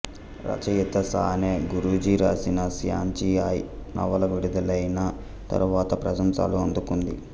రచయిత సానే గురూజీ రాసిన శ్యాంచి ఆయ్ నవల విడుదలైన తరువాత ప్రశంసలు అందుకుంది